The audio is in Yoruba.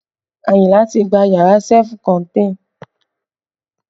Ayinla ti gba yàrá sefú kọ́n